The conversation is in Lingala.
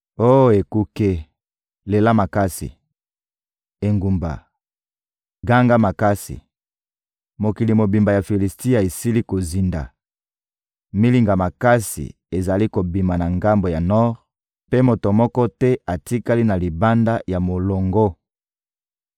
Oh ekuke, lela makasi! Engumba, ganga makasi! Mokili mobimba ya Filisitia esili kozinda! Milinga makasi ezali kobima na ngambo ya nor, mpe moto moko te atikali na libanda ya molongo.